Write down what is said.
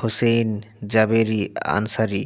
Hussein Jaberi Ansari